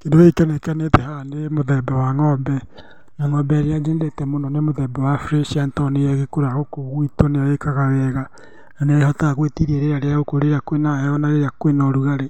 Kĩndũ gĩkĩ kĩonekanĩte haha nĩ mũthemba wa ng'ombe, na ng'ombe ĩrĩa nyendete mũno nĩ mũthemba wa Fresian tondũ nĩyo ĩgĩkũraga gũkũ gwitũ, nĩyo ĩkaga wega na nĩyo ĩhotaga gwĩtiria rĩera rĩa gũkũ, rĩrĩa kwĩna heho na rĩrĩa kwĩna ũrugarĩ,